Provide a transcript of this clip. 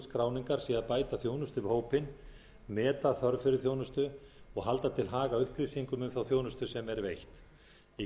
skráningar sé að bæta þjónustu við hópinn meta þörf fyrir þjónustu og halda til haga upplýsingum um þá þjónustu sem er veitt í